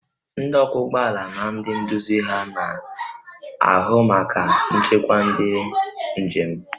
Ndị ọkwọ ụgbọ ala na ndị nduzi ha na-ahụ maka nchekwa nke ndị njem